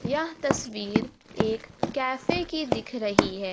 यह तस्वीर एक कैफे की दिख रही है।